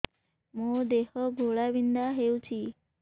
ମୋ ଦେହ ଘୋଳାବିନ୍ଧା ହେଉଛି